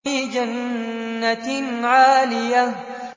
فِي جَنَّةٍ عَالِيَةٍ